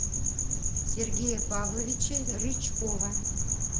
сергея павловича рычкова